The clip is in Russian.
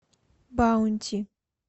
баунти